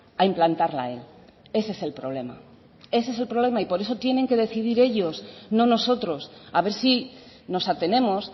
a implantarla él ese es el problema ese es el problema y por eso tienen que decidir ellos no nosotros a ver si nos atenemos